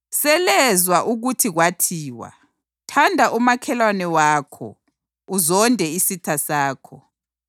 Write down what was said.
“Selezwa ukuthi kwathiwa, ‘Thanda umakhelwane wakho, uzonde isitha sakho.’ + 5.43 ULevi 19.18